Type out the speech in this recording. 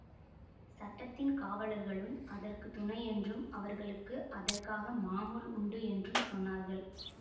சட்டத்தின் காவலர்களும் அதற்கு துணை என்றும் அவர்களுக்கு அதற்காக மாமூல் உண்டு என்றும் சொன்னார்கள்